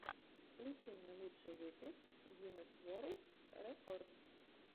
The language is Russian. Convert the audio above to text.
включи мне лучший выпуск гинесс ворлд рекордс